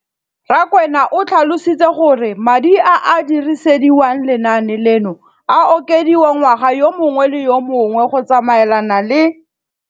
Rakwena o tlhalositse gore madi a a dirisediwang lenaane leno a okediwa ngwaga yo mongwe le yo mongwe go tsamaelana le